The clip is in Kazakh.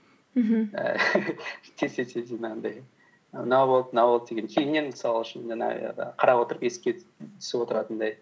мхм ііі тез тез тез жаңағындай мынау болды мынау болды деген кейіннен мысал үшін жаңағы қарап отырып еске түсіп отыратындай